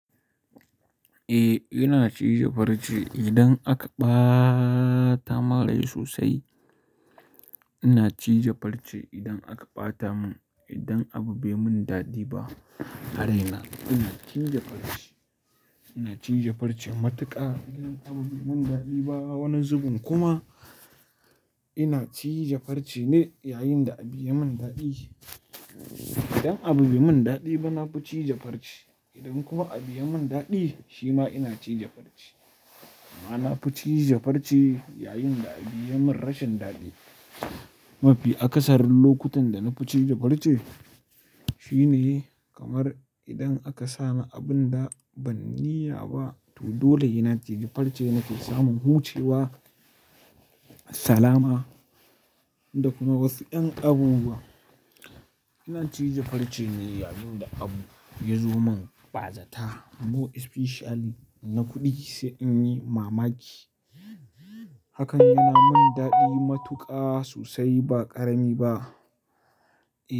Eh, ina cije farce idan aka ba ta mun rai sosai. Ina cije farce idan aka ɓata mun, idan abu bai mun daɗi ba, a raina, ina cije farce. Ina cije farce matuƙa idan abu bai mun daɗi ba, wani zubin kuma ina cije farce ne yayin da abu yayi mun daɗi. Idan abu bai mun daɗi ba, na fi cije farce. Idan kuma abu yayi mun daɗi, shi ma ina cije farce. Na fi cije farce yayin da abu yayi mun rashin daɗi. Mafi akasarin lokutan da na fi ciji farci shine kamar idan aka sani abunda ban niyya ba, to dole sena ciji farce nake samun hucewa, salama da kuma wasu ƴan abubuwa. Ina cije farce ne yayin da abu ya zo mun ɓazata, more especially na kuɗi sai inyi mamaki. Hakan yana mun daɗi matuƙa sosai ba ƙarami ba.